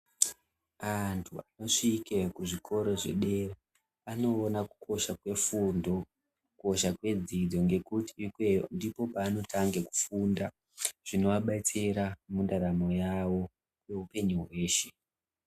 Antu vosvike kuzvikora zvedera anoona kukosha kwefundo kukosha kwedzidzo ngekuti ikweyo ndiko kwavanotange kufunda zvinovabetsera mundaramo yavo kwehupenyu hweshe.